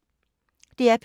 DR P2